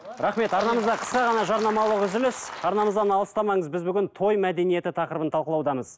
рахмет арнамызда қысқа ғана жарнамалық үзіліс арнамыздан алыстамаңыз біз бүгін той мәдениеті тақырыбын талқылаудамыз